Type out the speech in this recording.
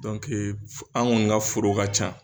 an kɔni ka foro ka ca